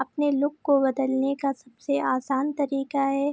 अपने लुक को बदलने का सबसे आसान तरीका है।